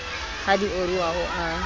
ha di oroha o a